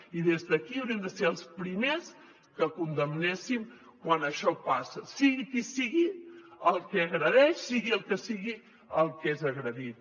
i des d’aquí hauríem de ser els primers que ho condemnéssim quan això passa sigui qui sigui el que agredeix sigui el que sigui el que és agredit